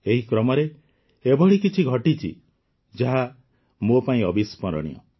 ଏହି କ୍ରମରେ ଏଭଳି କିଛି ଘଟିଛି ଯାହା ମୋ ପାଇଁ ଅବିସ୍ମରଣୀୟ